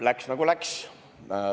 Läks, nagu läks.